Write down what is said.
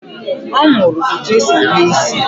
Ọ mụrụ etu e si eme isị